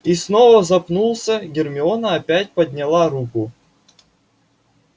и снова запнулся гермиона опять подняла руку